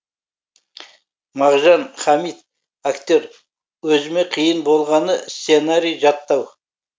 мағжан хамит актер өзіме қиын болғаны сценарий жаттау